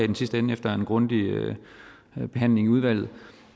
den sidste ende efter en grundig behandling i udvalget